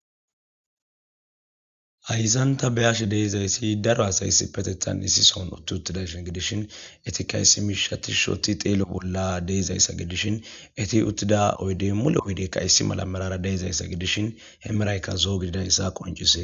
ayssanta be ashe deezayssi daro asayssi petethan issi soon utti uttidayshin gidishin eti kayssi mishati shoti xeelo bolla deezayssa gidishin eti uttida oydey mule oydeykka yssi mala marara deezayssa gidishin hemeraykka zoo gididayssa qoncise